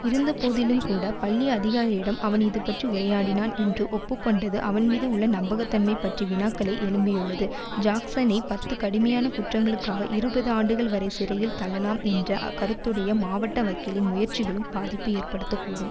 இருந்தபோதிலும்கூட பள்ளி அதிகாரியிடம் அவன் இதுபற்றி உரையாடினான் என்று ஒப்பு கொண்டது அவன்மீது உள்ள நம்பகத்தன்மை பற்றி வினாக்களை எழுப்பியுள்ளது ஜாக்சனை பத்து கடுமையான குற்றங்களுக்காக இருபது ஆண்டுகள் வரை சிறையில் தள்ளலாம் என்ற கருத்துடைய மாவட்ட வக்கீலின் முயற்சிகளும் பாதிப்பு ஏற்பட கூடும்